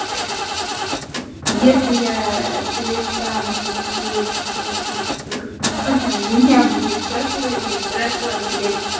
если я перестану как бы сейчас вести себя как бухая у меня будет прокуренный дракон блядь